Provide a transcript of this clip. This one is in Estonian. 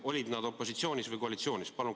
Olid opositsioonis või koalitsioonis?